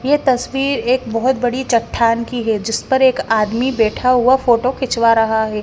ये तस्वीर एक बहोत बड़ी चट्टान की है जिस पर एक आदमी बैठा हुआ फोटो खिंचवा रहा है।